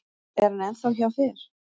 Er hann ennþá hjá þér?